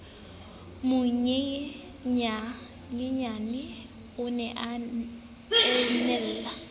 monyenyaneyena o ne a enale